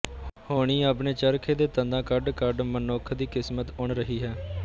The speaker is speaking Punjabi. ਹੋਣੀ ਆਪਣੇ ਚਰਖੇ ਤੇ ਤੰਦਾਂ ਕੱਢ ਕੱਢ ਮਨੁੱਖ ਦੀ ਕਿਸਮਤ ਉਣ ਰਹੀ ਹੈ